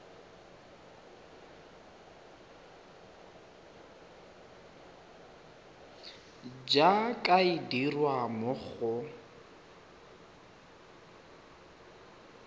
jaaka e dirwa mo go